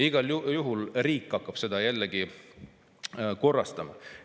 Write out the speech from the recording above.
Igal juhul hakkab riik seda jälle korrastama.